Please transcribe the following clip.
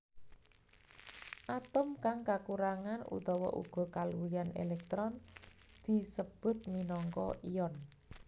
Atom kang kakurangan utawa uga kaluwihan èlèktron disebut minangka ion